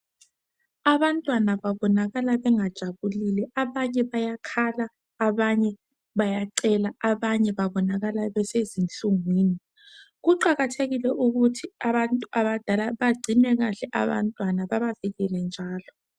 Abantwana babonakala bengajabulile. Abanye bayakhala, abanye bayacela. Abanye babonakala besezinhlungwini. Kuqakathekile ukuthi abantu abadala bagcine kahle abantwana, babavikele njalo.